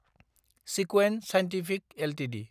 सिक्वेन्ट scientific Ltd